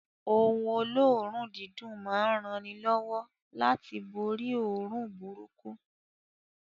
Oun olóòrùn dídùn ma n ranilówó láti borí óòrùn burúkú